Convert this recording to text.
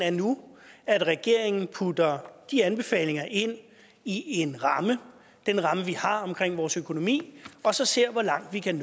er nu at regeringen putter de anbefalinger ind i en ramme den ramme vi har omkring vores økonomi og så ser hvor langt vi kan